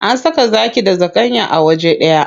An saka zaki da zakanya a waje ɗaya.